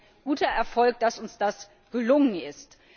Es ist ein guter Erfolg, dass uns das gelungen ist.